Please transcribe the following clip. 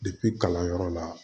kalanyɔrɔ la